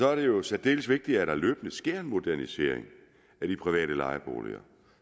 er det jo særdeles vigtigt at der løbende sker en modernisering af de private lejeboliger